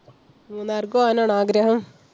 മൂന്നാർക്ക് പോകാനാണോ ആഗ്രഹം?